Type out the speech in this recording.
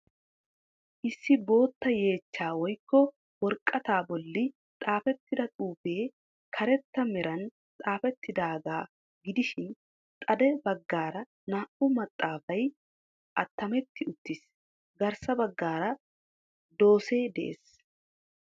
Issi bootta yeechchaa woykko woraqataa bolli xaafettida xuufee karetta meran xaafettidaagaa gidishin xade baggaara naa"u maaxaafay attametti uttiis. Garssa baggaara doosee de'ees.